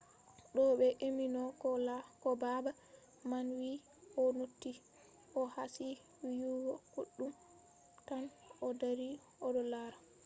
de ɓe emimo ko baba man wii o noti o kasi wiyugo koɗume tan o dari oɗo laara.